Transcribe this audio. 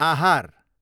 आहार